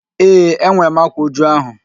Ee, enwere m ákwá újú ahụ